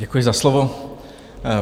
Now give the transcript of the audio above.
Děkuji za slovo.